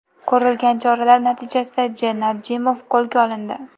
Ko‘rilgan choralar natijasida J. Nadjimov qo‘lga olindi.